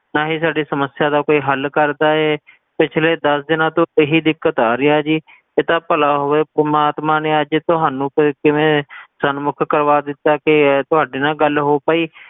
ਨਾ ਹੀ ਸਾਡੀ ਸਮੱਸਿਆ ਦਾ ਕੋਈ ਹੱਲ ਕਰਦਾ ਏ ਪਿਛਲੇ ਦਸ ਦਿਨਾਂ ਤੋਂ ਇਹੀ ਦਿੱਕਤ ਆ ਰਹੀ ਆ ਜੀ ਇਹ ਤਾਂ ਭਲਾ ਹੋਵੇ ਪਰਮਾਤਮਾ ਨੇ ਅੱਜ ਤੁਹਾਨੂੰ ਕਿ ਕਿਵੇਂ ਸਨਮੁੱਖ ਕਰਵਾ ਦਿੱਤਾ ਕਿ ਤੁਹਾਡੇ ਨਾਲ ਗੱਲ ਹੋ ਪਾਈ,